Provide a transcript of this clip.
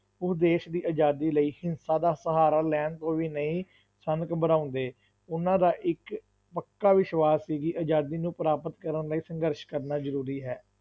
ਉਹ ਦੇਸ਼ ਦੀ ਆਜ਼ਾਦੀ ਲਈ ਹਿੰਸਾ ਦਾ ਸਹਾਰਾ ਲੈਣ ਤੋਂ ਵੀ ਨਹੀਂ ਸਨ ਘਬਰਾਉਂਦੇ, ਉਹਨਾਂ ਦਾ ਇੱਕ ਪੱਕਾ ਵਿਸ਼ਵਾਸ ਸੀ ਕਿ ਆਜ਼ਾਦੀ ਨੂੰ ਪ੍ਰਾਪਤ ਕਰਨ ਲਈ ਸੰਘਰਸ਼ ਕਰਨਾ ਜ਼ਰੂਰੀ ਹੈ।